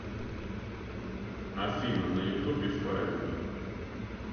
афина на ютубе файр ин ми